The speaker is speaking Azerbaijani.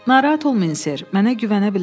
Narahat olmayın Ser, mənə güvənə bilərsiz.